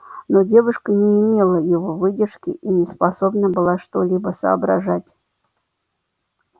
но девушка не имела его выдержки и не способна была что-либо соображать